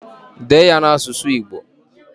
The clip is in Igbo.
Dee ya n'asụsụ Igbo!